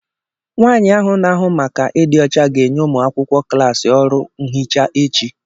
nwaanyị ahu na-ahụ maka ịdị ọcha ga-enye ụmụ akwụkwọ klaasị ọrụ nhicha echi